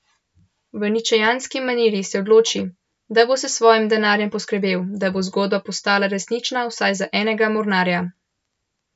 V ničejanski maniri se odloči, da bo s svojim denarjem poskrbel, da bo zgodba postala resnična vsaj za enega mornarja.